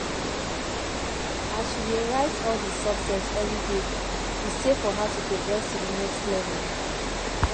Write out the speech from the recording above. as she dey write all the success everyday e say for her to progress to the next level